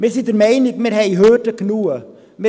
Wir sind der Meinung, dass wir genug Hürden haben.